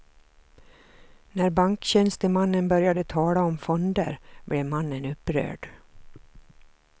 När banktjänstemannen började tala om fonder blev mannen upprörd.